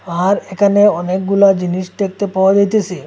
আর এখানে অনেকগুলা জিনিস দেখতে পাওয়া যাইতেসে।